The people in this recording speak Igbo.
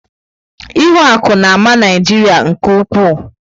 Ihuaku na-ama Naijiria nke ukwuu.